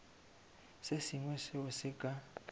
se sengwe seo se ka